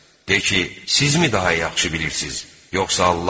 De ki: Sizmi daha yaxşı bilirsiz, yoxsa Allahmı?